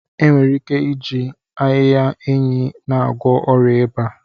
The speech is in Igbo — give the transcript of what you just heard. Enwere ike iji ahịhịa enyi na-agwọ ọrịa ịba.